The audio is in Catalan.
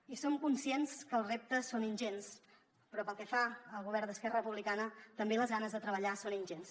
i som conscients que els reptes són ingents però pel que fa al govern d’esquerra republicana també les ganes de treballar són ingents